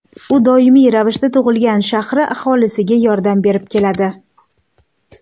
U doimiy ravishda tug‘ilgan shahri aholisiga yordam berib keladi.